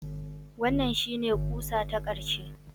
Wannan shine ƙusa ta ƙarshe